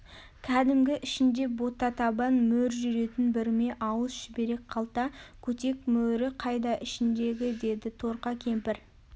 кәдімгі ішінде ботатабан мөр жүретін бүрме ауыз шүберек қалта көтек мөрі қайда ішіндегі деді торқа кемпір